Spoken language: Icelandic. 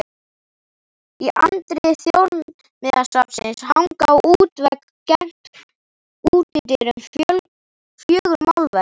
Í anddyri Þjóðminjasafnsins hanga á útvegg gegnt útidyrum fjögur málverk.